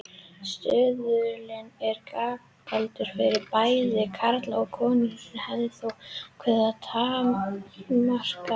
Stuðullinn er gjaldgengur fyrir bæði karla og konur en hefur þó ákveðnar takmarkanir.